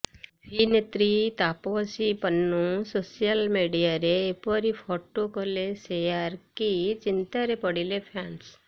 ଅଭିନେତ୍ରୀ ତାପସୀ ପନ୍ନୁ ସୋସିଆଲ ମିଡିଆରେ ଏପରି ଫଟୋ କଲେ ଶେୟାର କି ଚିନ୍ତାରେ ପଡିଲେ ଫ୍ୟାନ୍ସ